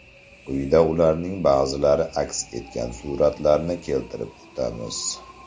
Quyida ularning ba’zilari aks etgan suratlarni keltirib o‘tamiz.